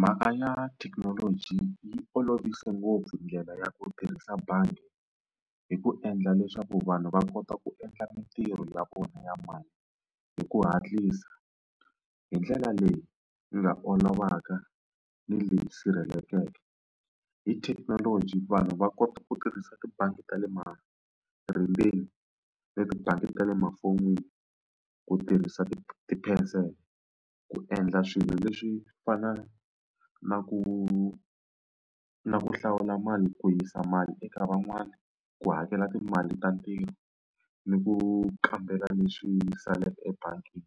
Mhaka ya thekinoloji yi olovise ngopfu ndlela ya ku tirhisa bangi hi ku endla leswaku vanhu va kota ku endla min tirho ya vona ya mali hi ku hatlisa hi ndlela leyi nga olovaka ni leyi sirhelelekeke. Hi thekinoloji vanhu va kota ku tirhisa tibangi ta le ma na tibangi ta le mafoni ku tirhisa ti ku endla swilo leswi fana na ku na ku hlawula mali ku yisa mali eka van'wani, ku hakela timali ta ntirho, ni ku kambela leswi saleke ebangini.